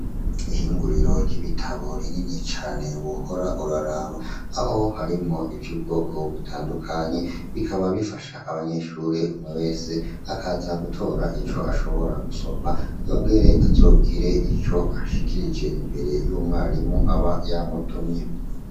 Ihinguriro ry'ibitabo rinini cane wohora uraraba. Aho harimwo ivy'ubwoko butandukanye bikaba bifasha abanyeshure. Umwe wese akaza gutora ico ashobora gusoma yongere azogire ico ashikirije imbere y'umwarimu aba yamutumye.